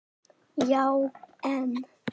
Já en.?